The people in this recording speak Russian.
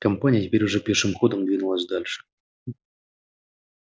компания теперь уже пешим ходом двинулась дальше